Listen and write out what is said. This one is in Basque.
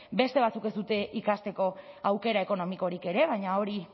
beste batzuek ez dute ikasteko aukera ekonomikorik ere baina hori